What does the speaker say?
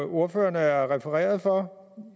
ordføreren er refereret for